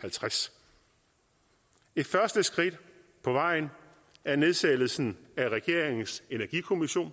halvtreds et første skridt på vejen er nedsættelsen af regeringens energikommission